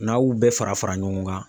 N'a y'ubɛɛ fara fara ɲɔgɔn kan